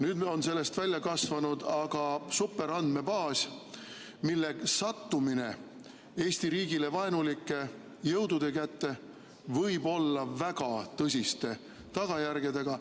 Nüüd on sellest välja kasvanud aga superandmebaas, mille sattumine Eesti riigile vaenulike jõudude kätte võib olla väga tõsiste tagajärgedega.